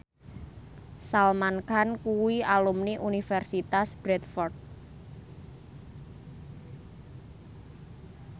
Salman Khan kuwi alumni Universitas Bradford